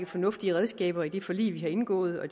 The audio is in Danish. fornuftige redskaber i det forlig vi har indgået og